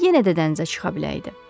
Yenə də dənizə çıxa biləydi.